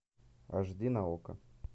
аш ди на окко